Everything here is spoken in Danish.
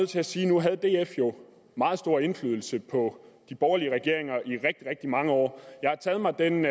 til at sige at nu havde df jo meget stor indflydelse på de borgerlige regeringer i rigtig rigtig mange år jeg har taget mig den